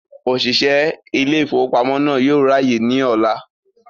Òṣìṣẹ́ ilé ìfowópamọ́ náà yóò ráyè ní ọ̀la